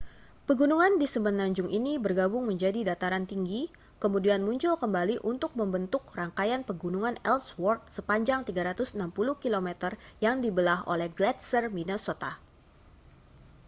pegunungan di semenanjung ini bergabung menjadi dataran tinggi kemudian muncul kembali untuk membentuk rangkaian pegunungan ellsword sepanjang 360 km yang dibelah oleh gletser minnesota